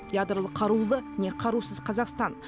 ядролық қарулы не қарусыз қазақстан